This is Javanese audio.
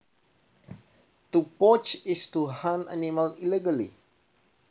To poach is to hunt animals illegally